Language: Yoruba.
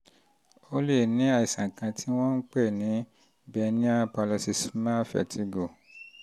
o um lè ní um àìsàn kan tí àìsàn kan tí wọ́n ń pè um ní benign parloxysmal vertigo (bpv)